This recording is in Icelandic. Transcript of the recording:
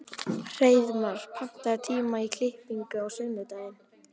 Hreiðmar, pantaðu tíma í klippingu á sunnudaginn.